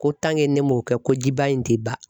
Ko ne m'o kɛ ko jiban in tɛ ban